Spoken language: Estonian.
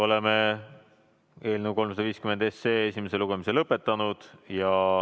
Oleme eelnõu 350 esimese lugemise lõpetanud.